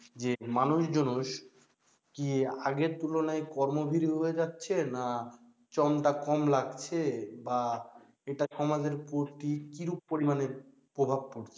যে মানুষজন কি আগের তুলনায় কর্মভীরু হয়ে যাচ্ছে? না জনটা কম লাগছে বা এটা সমাজের প্রতি কিরূপ পরিমাণে প্রভাব পড়ছে?